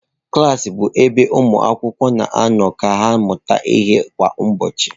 Klas bụ ebe ụmụ akwụkwọ na-anọ ka ha mụta ihe kwa ụbọchị.